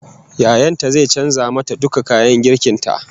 Yayan ta zai canza mata duka kayan girkin ta